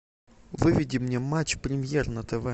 выведи мне матч премьер на тв